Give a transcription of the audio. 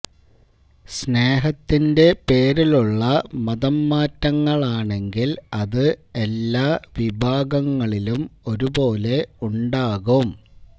സ്നേഹത്തിന്റെ പേരിലുള്ള മതംമാറ്റങ്ങളാണെങ്കില് അത് എല്ലാ വിഭാഗങ്ങളിലും ഒരുപോലെ ഉണ്ടാകും